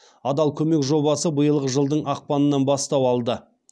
адал көмек жобасы биылғы жылдың ақпанынан бастау алды